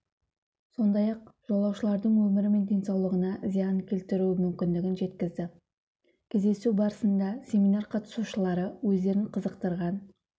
сондай-ақ жолаушылардың өмірі мен денсаулығына зиян келтіруі мүмкіндігін жеткізді кездесу барысында семинар қатысушылары өздерін қызықтырған